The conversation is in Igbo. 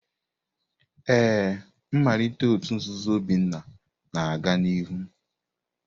Ee, mmalite òtù nzuzo Obinna na-aga n'ihu.